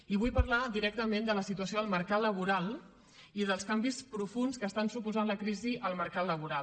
i vull parlar directament de la situació del mercat laboral i dels canvis profunds que està suposant la crisi al mercat laboral